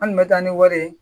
An kun bɛ taa ni wari ye